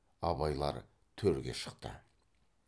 абайлар төрге шықты